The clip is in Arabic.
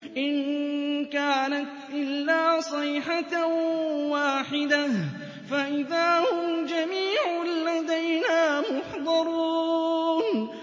إِن كَانَتْ إِلَّا صَيْحَةً وَاحِدَةً فَإِذَا هُمْ جَمِيعٌ لَّدَيْنَا مُحْضَرُونَ